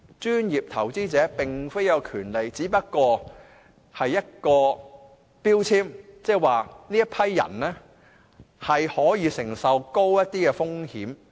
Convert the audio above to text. "專業投資者"並非一項權利，只是一個標籤，即這群人可以承受高一點的風險。